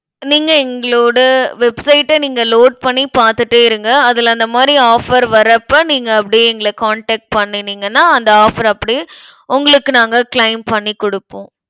நீங்க எங்களோட website அ நீங்க load பண்ணி பாத்துட்டே இருங்க. அதுல அந்த மாதிரி offer வர்றப்ப நீங்க அப்படியே எங்களை contact பண்ணுனீங்கன்னா அந்த offer அப்படியே உங்களுக்கு நாங்க claim பண்ணி குடுப்போம்.